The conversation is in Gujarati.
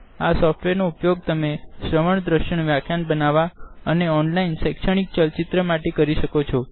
આ સોફ્ટવેર નો ઉપયોગ તમે શ્રવણ દ્રશ્યન વ્યાખ્યાન બનાવવા ને ઓનલાઈન શેક્ષણિક ચલ ચિત્ર બનાવવા કરી શકો છો